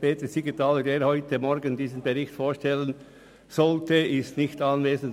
Grossrat Siegenthaler, der für diese Aufgabe heute Morgen vorgesehen war, ist nicht anwesend.